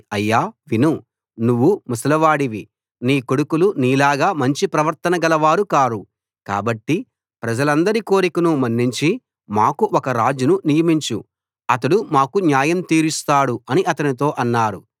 అయ్యా విను నువ్వు ముసలివాడివి నీ కొడుకులు నీలాగా మంచి ప్రవర్తన గలవారు కారు కాబట్టి ప్రజలందరి కోరికను మన్నించి మాకు ఒక రాజును నియమించు అతడు మాకు న్యాయం తీరుస్తాడు అని అతనితో అన్నారు